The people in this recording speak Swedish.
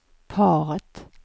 paret